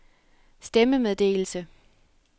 stemmemeddelelse